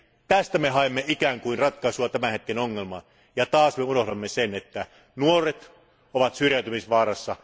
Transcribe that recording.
Tästä me haemme ikään kuin ratkaisua tämän hetken ongelmaan, ja taas me unohdamme sen, että nuoret ovat syrjäytymisvaarassa.